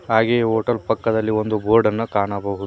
ಹಾಗೆ ಹೋಟೆಲ್ ಪಕ್ಕದಲ್ಲಿ ಒಂದು ಬೋರ್ಡನ್ನ ಕಾಣಬಹು--